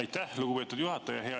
Aitäh, lugupeetud juhataja!